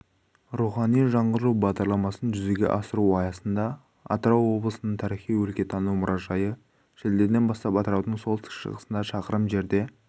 рухани жаңғыру бағдарламасын жүзеге асыру аясында атырау облысының тарихи-өлкетану мұражайы шілдеден бастап атыраудың солтүстік-шығысында шақырым жерде